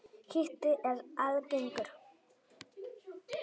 Hiti er algengur.